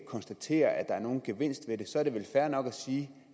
konstatere at der er nogen gevinst ved det så er det vel fair nok at sige